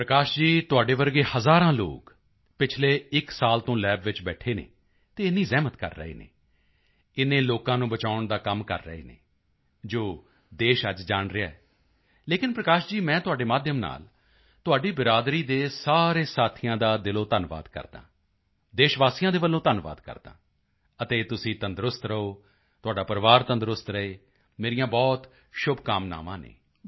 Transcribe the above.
ਪ੍ਰਕਾਸ਼ ਜੀ ਤੁਹਾਡੇ ਵਰਗੇ ਹਜ਼ਾਰਾਂ ਲੋਕ ਪਿਛਲੇ ਇੱਕ ਸਾਲ ਤੋਂ ਲੱਬ ਵਿੱਚ ਬੈਠੇ ਹਨ ਅਤੇ ਇੰਨੀ ਜ਼ਹਿਮਤ ਕਰ ਰਹੇ ਹਨ ਇੰਨੇ ਲੋਕਾਂ ਨੂੰ ਬਚਾਉਣ ਦਾ ਕੰਮ ਕਰ ਰਹੇ ਹਨ ਜੋ ਦੇਸ਼ ਅੱਜ ਜਾਣ ਰਿਹਾ ਹੈ ਲੇਕਿਨ ਪ੍ਰਕਾਸ਼ ਜੀ ਮੈਂ ਤੁਹਾਡੇ ਮਾਧਿਅਮ ਨਾਲ ਤੁਹਾਡੀ ਬਿਰਾਦਰੀ ਦੇ ਸਾਰੇ ਸਾਥੀਆਂ ਦਾ ਦਿਲੋਂ ਧੰਨਵਾਦ ਕਰਦਾ ਹਾਂ ਦੇਸ਼ਵਾਸੀਆਂ ਦੇ ਵੱਲੋਂ ਧੰਨਵਾਦ ਕਰਦਾ ਹਾਂ ਅਤੇ ਤੁਸੀਂ ਤੰਦਰੁਸਤ ਰਹੋ ਤੁਹਾਡਾ ਪਰਿਵਾਰ ਤੰਦਰੁਸਤ ਰਹੇ ਮੇਰੀਆਂ ਬਹੁਤ ਸ਼ੁਭਕਾਮਨਾਵਾਂ ਹਨ